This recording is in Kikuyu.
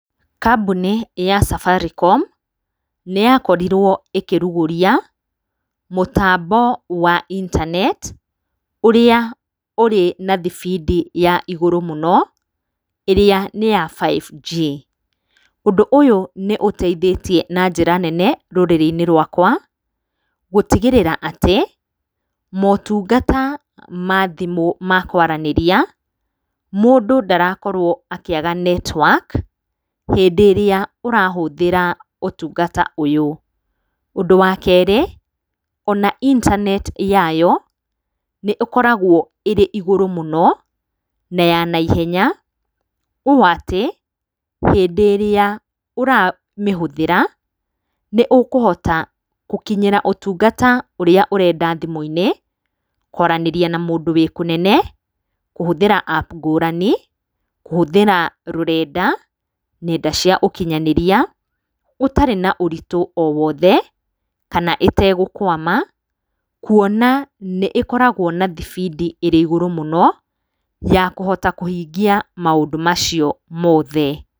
Kambuni ya Safaricom nĩ yakorirwo ĩkĩrugũria mũtambo wa intaneti ũrĩa ũrĩ na thibindi ya igũrũ mũno ĩrĩa nĩ ya 5G. Ũndũ ũyũ nĩ ũteithĩtie na njĩra nene rũrĩrĩ-inĩ rwakwa, gũtigĩrĩra atĩ motungata ma thimũ ma kwaranĩria mũndũ ndarakorwo akĩaga netiwaki hĩndĩ ĩrĩa ũrahũthĩra ũtungata ũyũ. Ũndũ wa kerĩ, ona intaneti yayo, nĩ ĩkoragwo ĩrĩ igũrũ mũno, na ya naihenya ũũ atĩ, hĩndĩ ĩrĩa ũramĩhũthĩra, nĩ ũkũhota gũkinyĩra ũtungata ũrĩa ũrenda thimũ-inĩ, kwaranĩria na mũndũ wĩ kũnene, kũhũthĩra app ngũrani, kũhũthĩra rũrenda, nenda cia ũkinyanĩria, ũtarĩ na na ũritũ o wothe, kana ĩtegũkwama, kuona atĩ nĩĩkoragwo na thibindi ĩrĩ igũrũ mũno ya kũhota kũhingia maũndũ macio mothe.